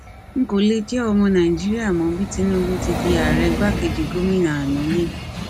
n kò lè jẹ ọmọ nàìjíríà mọ bí tinubu ti di ààrẹ igbakejì gómìnà àná lẹkọ